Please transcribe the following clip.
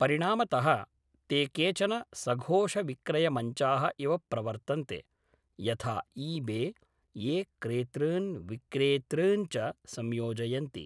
परिणामतः, ते केचन सघोषविक्रयमञ्चाः इव प्रवर्तन्ते, यथा ई बे, ये क्रेतॄन् विक्रेतॄन् च संयोजयन्ति।